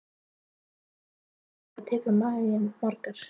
Ingveldur: En hvað tekur maginn margar?